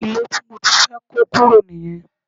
Ilé tí mo ti fẹ́ kó kúrò nìyẹn